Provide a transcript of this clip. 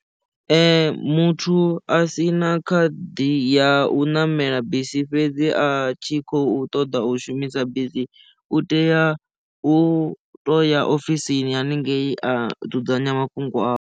Ee muthu a sina khadi ya u ṋamela bisi fhedzi a tshi khou ṱoḓa u shumisa bisi u tea u to ya ofisini haningei a dzudzanya mafhungo awe.